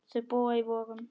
Þau búa í Vogum.